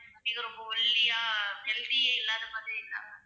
இது ரொம்ப ஒல்லியா, healthy யே இல்லாத மாதிரி இல்லாமல்,